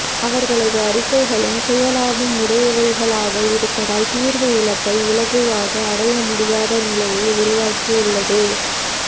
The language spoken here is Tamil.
அவர்களது அறிக்கைகளும் சுயலாபம் உடையவைகளாக இருப்பதால் தீர்வு இலக்கை இலகுவாக அடையமுடியாத நிலையை உருவாக்கியுள்ளது